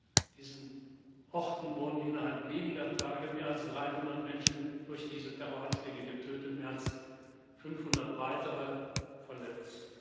An diesen Orten wurden innerhalb weniger Tage mehr als 300 Menschen durch diese Terroranschläge getötet, mehr als 500 weitere verletzt.